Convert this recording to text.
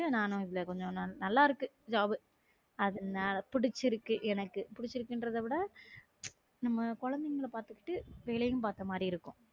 நல்லா இருக்கு job உ அது புடிச்சிருக்கு எனக்கு புடிச்சிருக்குன்றதை விட நம்ம குழந்தைங்களை பாத்துக்கிட்டு வேலையும் பாத்த மாதிரி இருக்கும்